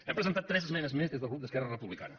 hem presentat tres esmenes més des del grup d’esquerra republicana